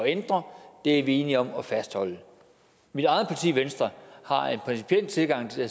ændre er vi enige om at fastholde mit eget parti venstre har en principiel tilgang til